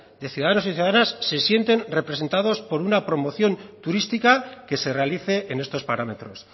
de ciudadanos y ciudadanas se sienten representados por una promoción turística que se realice en estos parámetros